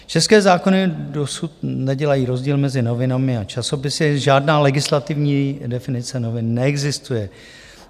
České zákony dosud nedělají rozdíl mezi novinami a časopisy, žádná legislativní definice novin neexistuje.